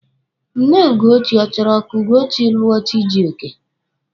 Nne Ugochi ọ chọrọ ka Ugochi lụọ Chijioke?